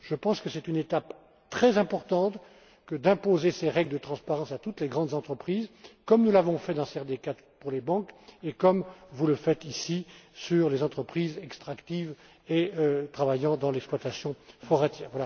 Je pense que c'est une étape très importante que d'imposer ces règles de transparence à toutes les grandes entreprises, comme nous l'avons fait dans la CRD IV pour les banques et comme vous le faites, ici, pour les entreprises extractives et celles opérant dans le secteur de l'exploitation forestière.